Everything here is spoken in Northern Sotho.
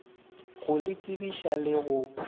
go le tsebiša le go